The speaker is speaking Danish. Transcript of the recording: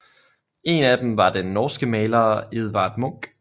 En af dem var den norske maler Edvard Munch